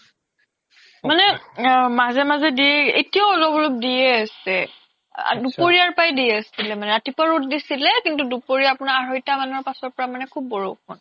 মানে মাজে মাজে দি এতিয়াও অলপ অলপ দিয়ে আছে দুপৰিয়া দি আছিলে মানে ৰাতিপুৱা ৰ্'দ দিছিলে কিন্তু দুপৰিয়া আপোনাৰ আহৰইতা মানৰ পাছৰ পৰা খুব বৰষুণ